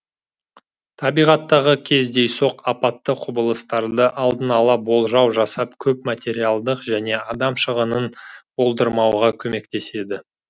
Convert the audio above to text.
табиғаттағы кездейсоқ апатты құбылыстарды алдын ала болжау жасау көп материалдық және адам шығынын болдырмауға көмектеседі